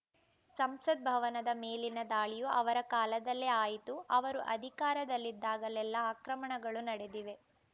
ಸಂಸದ್ ಭವನದ ಮೇಲಿನ ದಾಳಿಯೂ ಅವರ ಕಾಲದಲ್ಲೇ ಆಯಿತು ಅವರು ಅಧಿಕಾರದಲ್ಲಿದ್ದಾಗಲೆಲ್ಲಾ ಆಕ್ರಮಣಗಳು ನಡೆದಿವೆ